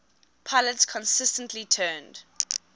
pilots consistently turned